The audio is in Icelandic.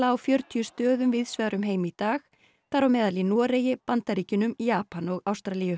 á fjörutíu stöðum víðs vegar um heim í dag þar á meðal í Noregi Bandaríkjunum Japan og Ástralíu